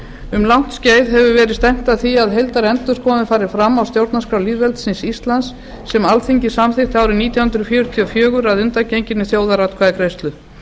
um langt skeið hefur verið stefnt að því að heildarendurskoðun fari fram á stjórnarskrá lýðveldisins íslands sem alþingi samþykkti árið nítján hundruð fjörutíu og fjögur að undangenginni þjóðaratkvæðagreiðslu